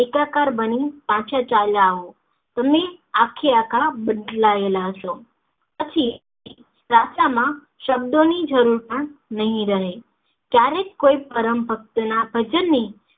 એકાકાર બની પાછા ચાલ્યા આઓ તમે આખેઆખા બદલાયેલા હસો પછી પ્રાર્થના માં શબ્દો ની જરૂર પણ નહિ રહે ક્યારેક કોઈ પરમભક્તના ભજન ની